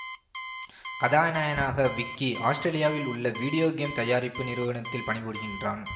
கதாநாயகனாக விக்கி ஆசுத்திரேலியாவில் உள்ள வீடியோ கேம் தயாரிப்பு நிறுவனத்தில் பணிபுரிகின்றான்